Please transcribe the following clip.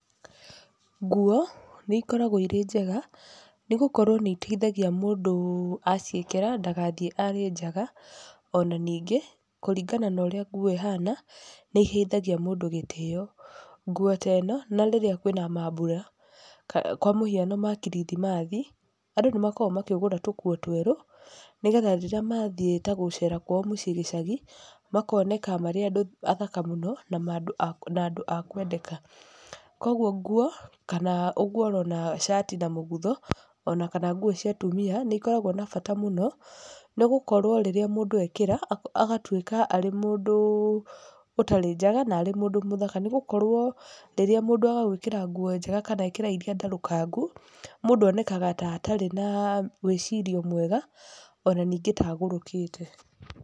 Nguo, nĩ ikoragwo irĩ njega, nĩ gũkorwo nĩ iteithagia mũndũ aciĩkĩra, ndagathiĩ arĩ njaga. Ona ningĩ, kũringana na ũrĩa nguo ĩhana, nĩ iheithagia mũndũ gĩtĩyo. Nguo ta ĩno, na rĩrĩa kwĩna maambura, kwa mũhiano ma kirithimathi, andũ nĩ makoragwo makĩgũra tũkuo twerũ, nĩgetha rĩrĩa mathiĩ ta gũcera kwao mũciĩ gĩcagi, makoneka marĩ andũ athaka mũno, na andũ na andũ a kwendeka. Koguo nguo, kana ũguo ũrona cati na mũgutho, ona kana nguo cia atumia, nĩ ikoragwo na bata mũno, nĩ gũkorwo rĩrĩa mũndũ ekĩra, agatuĩka arĩ mũndũ ũtarĩ njaga, na arĩ mũndũ mũthaka. Nĩ gũkorwo rĩrĩa mũndũ agwĩkĩra nguo njega kana ekĩra irĩa ndarũkangu, mũndũ onekaga ta atarĩ na wĩcirio mwega, ona ningĩ ta agũrũkĩte.